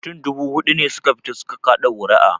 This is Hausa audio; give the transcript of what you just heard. Mutum dubu huɗu ne su ka fita su ka kaɗa ƙuri'a